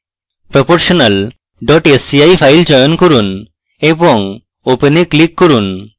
proportional sci file চয়ন করুন এবং open এ click করুন